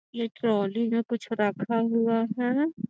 ये ट्रॉली है कुछ रखा हुआ है |